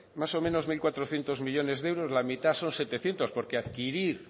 más o menos mil cuatrocientos millónes de euros la mitad son setecientos porque adquirir